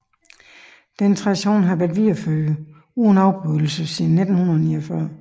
Denne tradition har været videreført uden afbrydelse siden 1949